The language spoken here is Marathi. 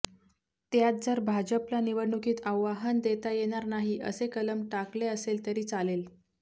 त्यात जर भाजपला निवडणुकीत आव्हान देता येणार नाही असे कलम टाकले असेल तरी चालेल